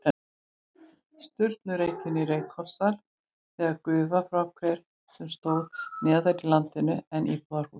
Sturlureykjum í Reykholtsdal með gufu frá hver sem stóð neðar í landinu en íbúðarhúsið.